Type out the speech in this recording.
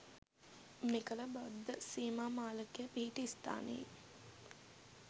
මෙකල බද්ධ සීමා මාලකය පිහිටි ස්ථානයේ